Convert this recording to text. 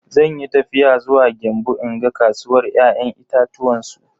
Zanyi tafiya zuwa Gembu in ga kasuwar ya'yan itatuwan su.